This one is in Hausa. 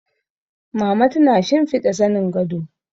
Mama tana shimfiɗa zanin gado